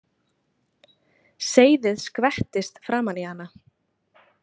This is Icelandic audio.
Seyðið skvettist framan í hana.